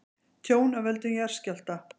Tjón af völdum jarðskjálfta